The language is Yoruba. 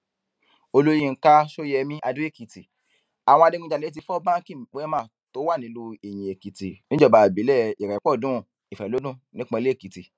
olùyinka ṣọyẹmi adóèkìtì àwọn adigunjalè ti fọ báńkì wemá tó wà nílùú iyinèkìtì níjọba ìbílẹ ìrépọdùn ìfẹlọdún nípínlẹ èkìtì